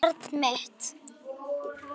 Barn mitt.